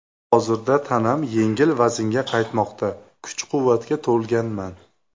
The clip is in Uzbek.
Hozirda tanam yengil vaznga qaytmoqda, kuch-quvvatga to‘lganman.